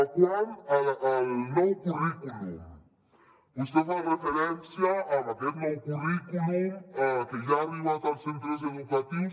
quant al nou currículum vostè fa referència a aquest nou currículum que ja ha arribat als centres educatius